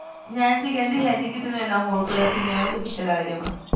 Nancy ਕਿਹੰਦੀ ਕਿਸੇ ਨੂ ਹੋਲ ਪੱਲਾ ਕੀ ਮੈਂ ਉਹਦੇ ਪਿੱਛੇ ਲੱਗ ਜਾਵਾ